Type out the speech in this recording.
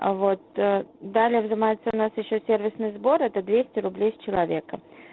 а вот далее далее взымается у нас ещё сервисный сбор это двести рублей с человека